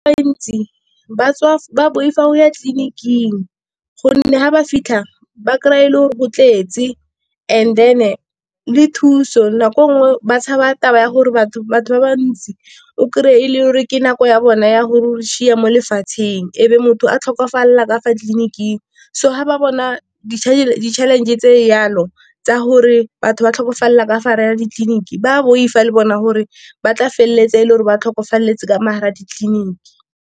ba boifa go ya tleliniking gonne ga ba fitlha ba kry-a e le gore go tletse and then-e le thuso, nako nngwe ba tshaba taba ya gore batho ba ba ntsi o krey-e e le gore ke nako ya bona ya gore o mo lefatsheng, ebe motho a tlhokafalela ka fa tleliniking. So ga ba bona di-challenge tse di jalo tsa gore batho ba tlhokofalela ka fa gare ga ditleliniki, ba boifa le bona gore ba tla feleletsa e le gore ba tlhokafaletse ka Mo gare ga ditleliniki.